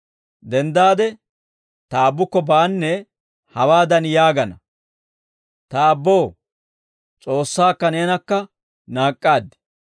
Denddaade ta aabbukko baanee› hawaadan yaagana; ‹Ta aabboo, S'oossaakka neenakka naak'k'aad;